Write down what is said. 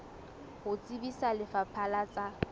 ho tsebisa lefapha la tsa